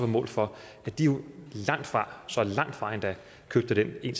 mål for at de jo langtfra så langt fra endda købte dem en